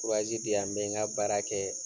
Diyan n bɛ n ka baara kɛ.